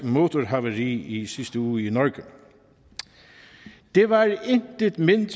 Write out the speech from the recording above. motorhavari i sidste uge i norge det var intet mindre